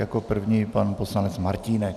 Jako první pan poslanec Martínek.